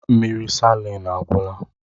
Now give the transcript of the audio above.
Mmiri salin agwụla